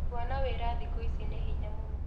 Kuona wĩra thikũ ici nĩ hinya mũno